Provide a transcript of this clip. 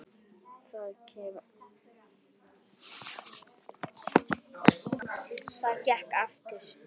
Það gekk eftir.